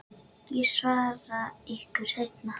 Ég svara ykkur seinna.